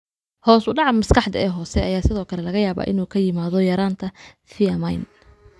Hoosudhaca maskaxda ee hoose ayaa sidoo kale laga yaabaa inuu ku yimaado yaraanta thiamine.